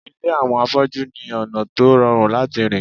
Ilé àwọn afọ́jú ní ọ̀nà tó rọrùn láti rìn